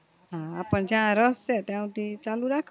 હા આપને જ્યાં રસ છે ત્યાં હુધી ચાલુ